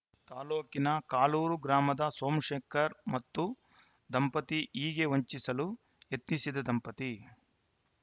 ತಾಲೂಕಿನ ಕಾಲೂರು ಗ್ರಾಮದ ಸೋಮಶೇಖರ್‌ ಮತ್ತು ದಂಪತಿ ಹೀಗೆ ವಂಚಿಸಲು ಯತ್ನಿಸಿದ ದಂಪತಿ